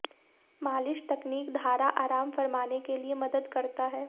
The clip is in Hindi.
मालिश तकनीक धारा आराम फरमाने के लिए मदद करता है